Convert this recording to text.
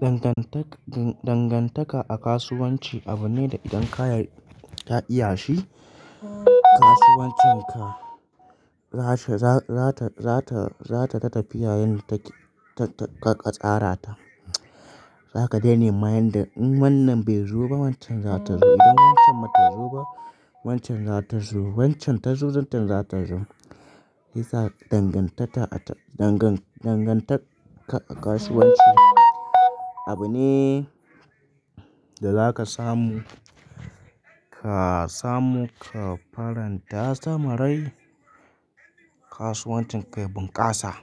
Dangantaka a kasuwanci abu ne da idan ka iya shi, kasuwancinka za ta ta tafiya yadda ka tsara ta. Za ka daina nema yadda in wannan bai zo ba wancan za ta zo. Idan wancan bata zo ba wancan za ta zo. Wancan ta zo, wancan za ta zo. Dangantaka a kasuwanci abu ne da za ka samu ka faran ta sama rai, kasuwancinka ya bunƙasa.